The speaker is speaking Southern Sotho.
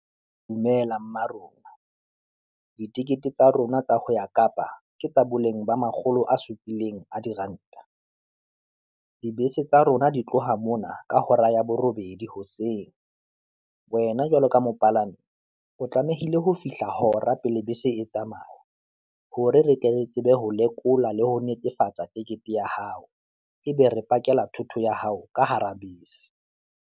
Dumela mma rona, ditikete tsa rona tsa ho ya kapa ke tsa boleng ba makgolo a supileng a diranta, dibese tsa rona di tloha mona ka hora ya borobedi hoseng. Wena jwalo ka mopalami, o tlamehile ho fihla hora pele bese etsamaya, hore re tle re tsebe ho lekola le ho netefatsa ticket-e ya hao, ebe re pakela thoto ya hao ka hara bese.